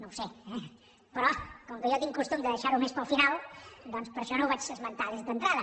no ho sé eh però com que jo tinc costum de deixar ho més per al final doncs per això no ho vaig esmentar d’entrada